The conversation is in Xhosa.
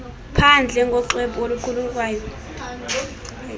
phandle ngoxwebhu oluqulunqwayo